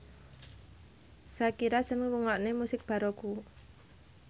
Shakira seneng ngrungokne musik baroque